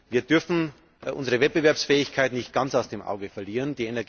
Wir dürfen unsere Wettbewerbsfähigkeit nicht ganz aus den Augen verlieren.